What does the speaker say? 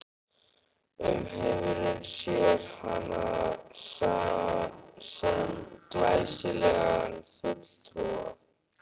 Umheimurinn sér hana sem glæsilegan fulltrúa